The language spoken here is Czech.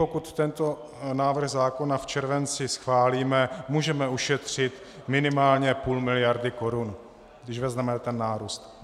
Pokud tento návrh zákona v červenci schválíme, můžeme ušetřit minimálně půl miliardy korun, když vezmeme ten nárůst.